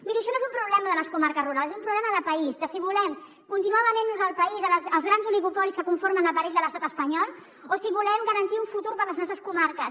miri això no és un problema de les comarques rurals és un problema de país de si volem continuar venent nos el país als grans oligopolis que conformen l’aparell de l’estat espanyol o si volem garantir un futur per a les nostres comarques